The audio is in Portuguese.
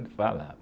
Ele falava.